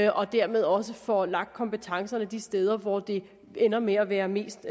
og dermed også får lagt kompetencerne de steder hvor det ender med at være mest